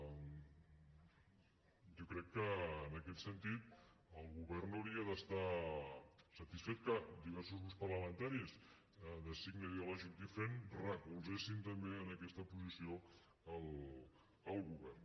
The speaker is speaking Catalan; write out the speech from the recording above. jo crec que en aquest sentit el govern hauria d’estar satisfet que diversos grups parlamentaris de signe ideològic diferent recolzessin també en aquesta posició el govern